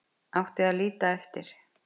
Átti að líta eftir